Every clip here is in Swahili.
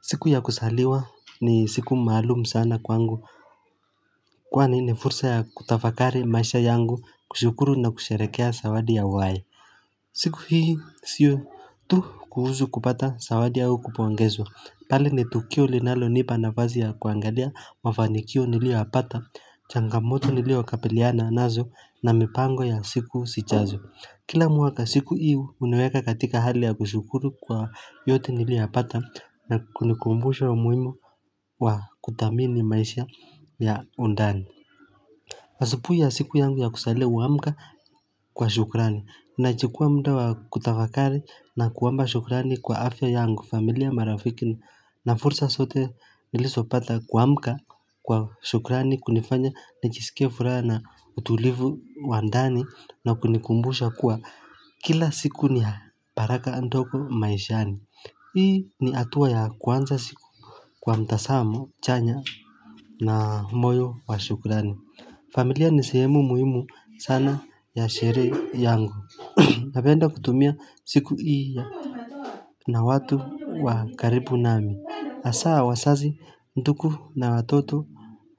Siku ya kuzaliwa ni siku maalumu sana kwangu, kwani ni fursa ya kutafakari maisha yangu kushukuru na kusherehekea zawadi ya uhai. Siku hii sio tu kuhusu kupata zawadi au kupongezwa bali ni tukio linalo nipa nafasi ya kuangalia mafanikio niliyo yapata changamoto niliyo kabiliana nazo na mipango ya siku zijazo Kila mwaka siku hii huniweka katika hali ya kushukuru kwa yote niliyoyapata na kunikumbusha umuhimu wa kuthamini maisha ya undani asubuhi ya siku yangu ya kuzaliwa amka kwa shukrani, nachukua muda wa kutafakari na kuomba shukrani kwa afya yangu familia marafiki na fursa zote nilizo pata kuamka kwa shukrani kunifanya nijisikie furaha na utulivu wa ndani na kunikumbusha kuwa Kila siku ni baraka ndogo maishani Hii ni hatua ya kwanza ya siku kwa mtazamo chanya na moyo wa shukurani familia ni sehemu muhimu sana ya sherehe yangu Napenda kutumia siku hii ya na watu wa karibu nami hasaa wazazi ndugu na watoto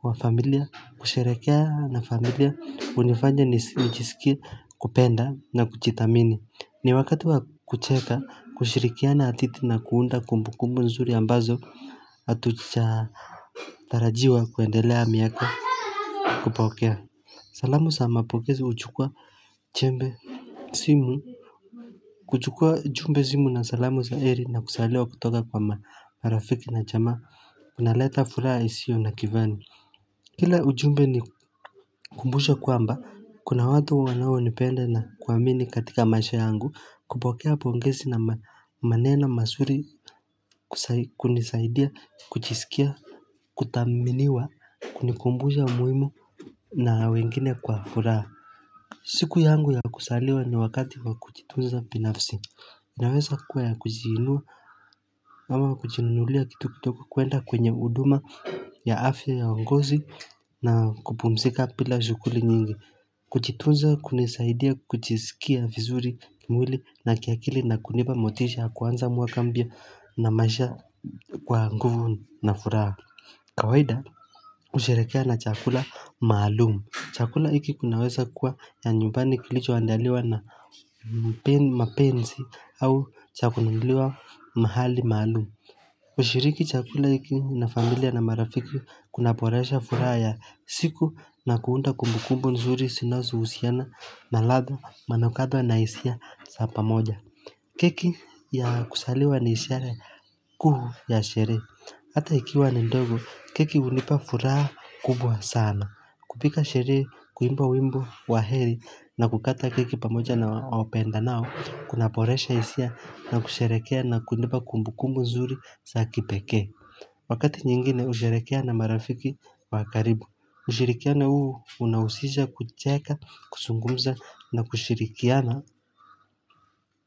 wa familia husherehekea na familia hunifanya nijisikie kupenda na kujiithamini ni wakati wa kucheka kushirikiana titi na kuunda kumbu kumbu nzuri ambazo hatujatarajiwa kuendelea miaka kupokea salamu sa mapokezi huchukua chembe simu, kuchukua jumbe simu na salamu za heri na kuzaliwa kutoka kwa marafiki na jamaa kunaleta furaha isio na kifani. Kila ujumbe ni ukumbusho kwamba, kuna watu wanao nipenda na kuamini katika maisha yangu, kupokea pongezi na maneno mazuri kunisaidia, kujisikia, kuthaminiwa, kunikumbusha umuhimu na wengine kwa furaha. Siku yangu ya kuzaliwa ni wakati kwa kujitunza binafsi, inaweza kuwa ya kuziiliwa ama kujinunulia kitu kutoka kuenda kwenye huduma ya afya ya uongozi na kupumzika bila shughuli nyingi. Kujitunza hunisaidia kujisikia vizuri mwili na kiakili na kunipa motisha kuanza mwaka mbya na masha kwa nguvu na furaha. Kawaida husherehekea na chakula maalumu Chakula hiki kinaweza kuwa ya nyumbani kilicho andaliwa na mapenzi au cha kununuliwa mahali mahalumu hUshiriki chakula hiki na familia na marafiki kunaboresha furaha ya siku na kuunda kumbukumbu nzuri zinazo husiana na ladha manukato na hisia za pamoja keki ya kuzaliwa ni ishara kuu ya sherehe hAta ikiwa ni ndogo keki hunipa furaha kubwa sana kupiga sherehe kuimba wimbo wa heri na kukata keki pamoja na wapendanao Kunaboresha hisia na kusherehekea na kunipa kumbukumbu mzuri saa kipekee Wakati nyingine husherehekea na marafiki wa karibu ushirikiano huu unahusisha kucheka kuzungumza na kushirikiana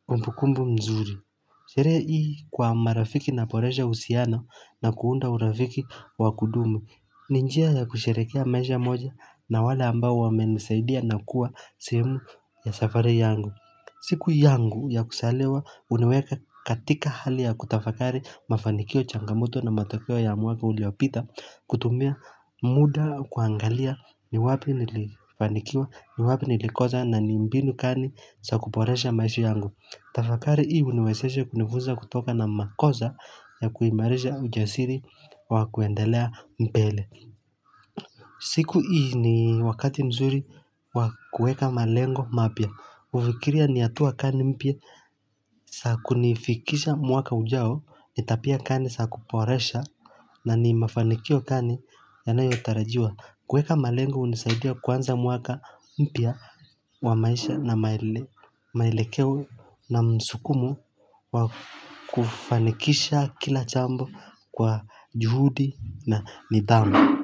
kumbu kumbu mzuri Sherehe hii kwa marafiki unaboresha uhusiano na kuunda urafiki wa kudumu. Ni njia ya kusherehekea maisha moja na wale ambao wamenisaidia na kuwa sehemu ya safari yangu. Siku yangu ya kuzaliwa huniweka katika hali ya kutafakari mafanikio changamoto na matokeo ya mwaka uliopita kutumia muda kuangalia ni wapi nilifanikiwa ni wapi nilikosa na ni mbinu gani za kuboresha maisha yangu. Tafakari hii huniwezesha kunifunza kutokana makosa ya kuimarisha ujasiri wa kuendelea mbele. Siku hii ni wakati mzuri wa kueka malengo mapya. Hufikiria ni hatua gani mpya, za kunifikisha mwaka ujao, ni tabia gani saa kuboresha na ni mafanikio gani yanayotarajiwa. Kuweka malengo hunisaidia kuanza mwaka mpya wa maisha na mwelekeo na msukumo wa kufanikisha kila jambo kwa juhudi na nidhamu.